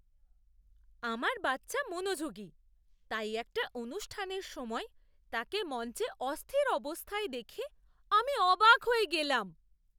আমার বাচ্চা মনোযোগী, তাই একটা অনুষ্ঠানের সময়ে তাকে মঞ্চে অস্থির অবস্থায় দেখে আমি অবাক হয়ে গেলাম।